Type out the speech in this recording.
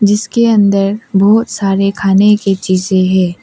जिसके अंदर बहुत सारे खाने की चीजे हैं।